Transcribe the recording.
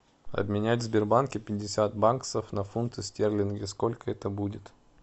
обменять в сбербанке пятьдесят баксов на фунты стерлинги сколько это будет